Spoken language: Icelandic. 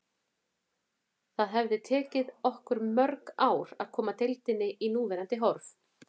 Það hefði tekið okkur mörg ár að koma deildinni í núverandi horf.